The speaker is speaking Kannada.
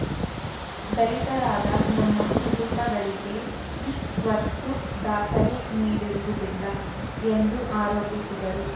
ದಲಿತರಾದ ನಮ್ಮ ಕುಟುಂಬಗಳಿಗೆ ಇ ಸ್ವತ್ತು ದಾಖಲೆ ನೀಡಿರುವುದಿಲ್ಲ ಎಂದು ಆರೋಪಿಸಿದರು